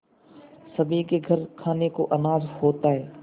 सभी के घर खाने को अनाज होता है